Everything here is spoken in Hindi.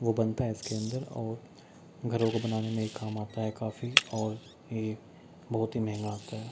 वो बनता है इसके अंदर और घरों को बनाने में ये काम आता है काफी और ये बहुत ही महंगा आता है।